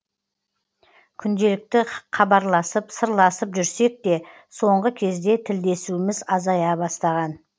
күнделікті қабарласып сырласып жүрсек те соңғы кезде тілдесуіміз азая бастаған